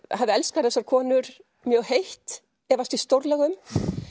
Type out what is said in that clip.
hafi elskað þessar konur mjög heitt efast ég stórlega um